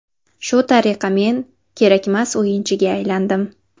Shu tariqa men kerakmas o‘yinchiga aylandim.